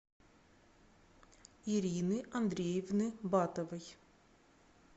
ирины андреевны батовой